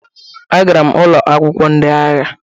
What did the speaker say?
Agara m ụlọ akwụkwọ ndị agha